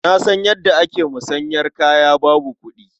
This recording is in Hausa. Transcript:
Na san yadda ake musanyar kaya babu kuɗi.